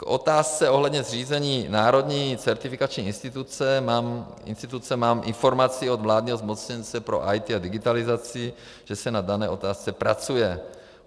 K otázce ohledně zřízení národní certifikační instituce mám informaci od vládního zmocněnce pro IT a digitalizaci, že se na dané otázce pracuje.